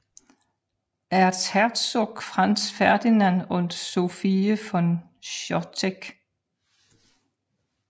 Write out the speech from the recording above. Erzherzog Franz Ferdinand und Sophie von Chotek